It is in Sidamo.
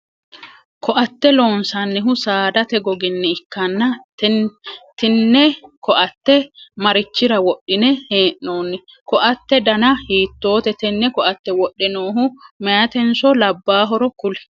Koate loonsannihu saadate goginni ikanna tinne koate marichira wodhine hee'noonni? Koate danna hiitoote? Tene koate wodhe noohu mayitenso labaahoro kuli?